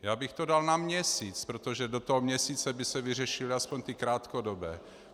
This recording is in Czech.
Já bych to dal na měsíc, protože do toho měsíce by se vyřešily aspoň ty krátkodobé.